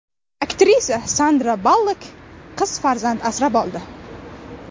Aktrisa Sandra Ballok qiz farzand asrab oldi.